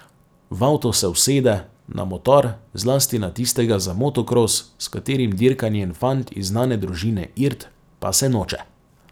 V avto se usede, na motor, zlasti na tistega za motokros, s katerim dirka njen fant iz znane družine Irt, pa se noče.